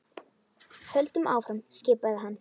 Höldum áfram skipaði hann.